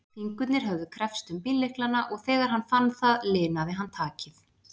Fingurnir höfðu kreppst um bíllyklana og þegar hann fann það linaði hann takið.